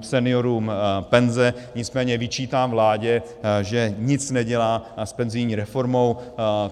seniorům penze, nicméně vyčítám vládě, že nic nedělá s penzijní reformou.